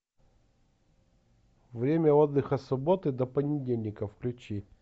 время отдыха с субботы до понедельника включи